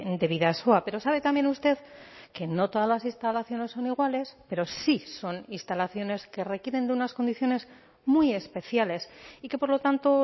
de bidasoa pero sabe también usted que no todas las instalaciones son iguales pero sí son instalaciones que requieren de unas condiciones muy especiales y que por lo tanto